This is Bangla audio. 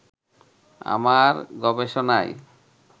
আমার গবেষণাই